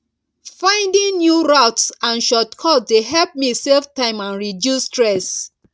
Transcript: finding new routes and shortcuts dey help me save time and reduce stress